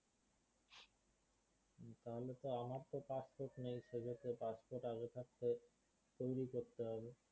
তাহলে তো আমার তো passport নেই সেক্ষেত্রে passport আগে থাকতে তৈরি করতে হবে